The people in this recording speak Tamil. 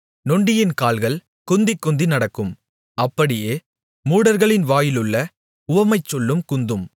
நொண்டியின் கால்கள் குந்திக்குந்தி நடக்கும் அப்படியே மூடர்களின் வாயிலுள்ள உவமைச்சொல்லும் குந்தும்